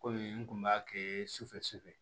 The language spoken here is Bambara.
Kɔmi n kun b'a kɛ sufɛ sufɛ